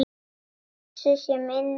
Blessuð sé minning Halla.